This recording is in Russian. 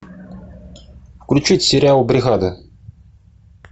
включить сериал бригада